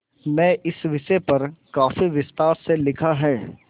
में इस विषय पर काफी विस्तार से लिखा है